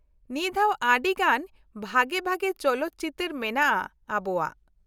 ᱱᱤᱭᱟ. ᱫᱷᱟᱣ ᱟᱰᱤ ᱜᱟᱱ ᱵᱷᱟᱜᱮ ᱵᱷᱟᱜᱮ ᱪᱚᱞᱚᱛ ᱪᱤᱛᱟ.ᱨ ᱢᱮᱱᱟᱜᱼᱟ ᱟᱵᱚᱣᱟᱜ ᱾